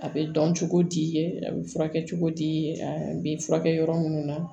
A bɛ dɔn cogo di a bɛ furakɛ cogo di a bɛ furakɛ yɔrɔ minnu na